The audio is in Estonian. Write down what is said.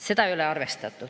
" Seda ei ole arvestatud.